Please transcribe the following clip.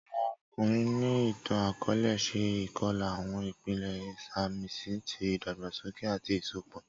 Awọn ọkunrin ni itan-akọọlẹ ṣe ikọla, awọn ipele isamisi ti idagbasoke ati isọpọ.